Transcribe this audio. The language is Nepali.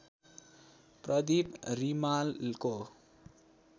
प्रदीप रिमालको